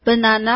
banana